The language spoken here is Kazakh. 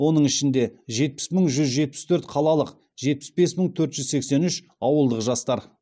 оның ішінде жетпіс мың жүз жетпіс төрт қалалық жетпіс бес мың төрт жүз сексен үш ауылдық жастар